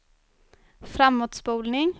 framåtspolning